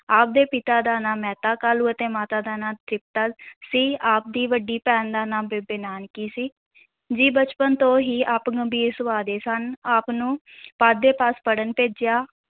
ਆਪ ਦੇ ਪਿਤਾ ਦਾ ਨਾਂ ਮਹਿਤਾ ਕਾਲੂ ਅਤੇ ਮਾਤਾ ਦਾ ਨਾਂ ਤ੍ਰਿਪਤਾ ਸੀ ਆਪ ਦੀ ਵੱਡੀ ਭੈਣ ਦਾ ਨਾਂ ਬੇਬੇ ਨਾਨਕੀ ਸੀ, ਜੀ ਬਚਪਨ ਤੋਂ ਹੀ ਆਪ ਗੰਭੀਰ ਸੁਭਾਅ ਦੇ ਸਨ ਆਪ ਨੂੰ ਪਾਂਧੇ ਪਾਸ ਪੜ੍ਹਨ ਭੇਜਿਆ।